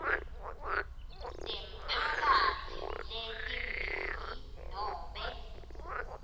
temphakatsi letimbili nobe